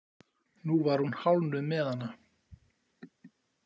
Nú var hún hálfnuð með hana.